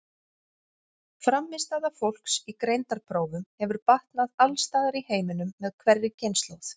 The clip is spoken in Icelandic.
Frammistaða fólks í greindarprófum hefur batnað alls staðar í heiminum með hverri kynslóð.